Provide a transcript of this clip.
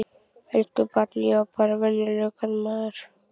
Elsku barn, ég er bara venjulegur karlmaður.